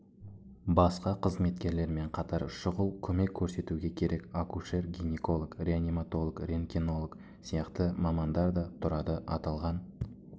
басқа қызметкерлермен қатар шұғыл көмек көрсетуге керек акушер-гинеколог реаниматолог рентгенолог сияқты мамандар да тұрады аталған